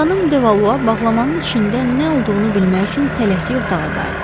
Xanım De Valua bağlamanın içində nə olduğunu bilmək üçün tələsik otağa qayıtdı.